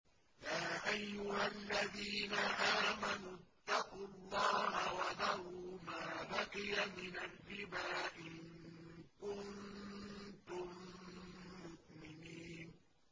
يَا أَيُّهَا الَّذِينَ آمَنُوا اتَّقُوا اللَّهَ وَذَرُوا مَا بَقِيَ مِنَ الرِّبَا إِن كُنتُم مُّؤْمِنِينَ